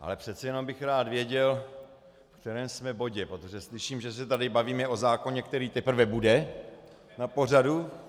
Ale přece jenom bych rád věděl, v kterém jsme bodě, protože slyším, že se tady bavíme o zákoně, který teprve bude na pořadu.